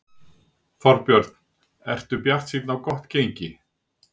Þorbjörn: Ertu bjartsýn á gott gengi?